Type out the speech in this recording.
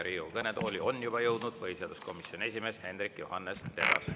Riigikogu kõnetooli on juba jõudnud põhiseaduskomisjoni esimees Hendrik Johannes Terras.